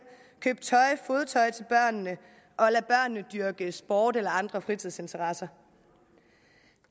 købe tøj og fodtøj til børnene dyrke sport eller andre fritidsinteresser